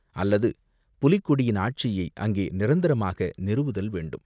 அல்லது புலிக்கொடியின் ஆட்சியை அங்கே நிரந்தரமாக நிறுவுதல் வேண்டும்.